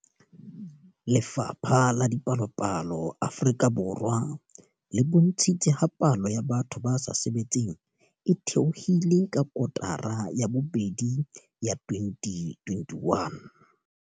Lefapha la Dipalopalo Afrika Borwa le bontshitse ha palo ya batho ba sa sebetseng e theohile ka kotara ya bobedi ya 2021.